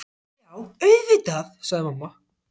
Já, auðvitað, sagði mamma.